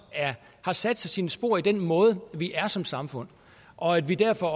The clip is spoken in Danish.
har sat sig sine spor i den måde vi er på som samfund og at vi derfor